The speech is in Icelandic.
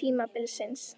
tímabilsins?